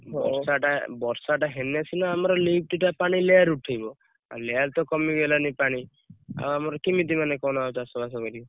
ବର୍ଷା ଟା ହେଲେ ସିନା ଆମର lift ଟା ପାଣି layer ଉଠିବ ଆଉ layer ତ କମି ଗଲାଣି ପାଣି ଆଉ ଆମର କେମିତି ମାନେ ଆଉ ଚାଷ ବାସ କରିବୁ।